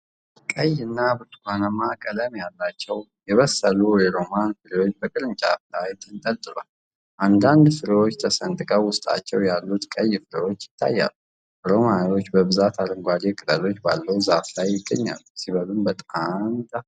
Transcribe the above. ቀይ እና ብርቱካንማ ቀለም ያላቸው የበሰሉ ሮማን ፍሬዎች በቅርንጫፎች ላይ ተንጠልጥለዋል። አንዳንድ ፍሬዎች ተሰንጥቀው ውስጣቸው ያሉት ቀይ ፍሬዎች ይታያሉ። ሮማኖች በብዛት አረንጓዴ ቅጠሎች ባለው ዛፍ ላይ ይገኛሉ። ሲበሉም በጣን ይጣፍጣሉ።